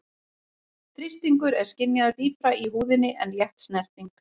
Þrýstingur er skynjaður dýpra í húðinni en létt snerting.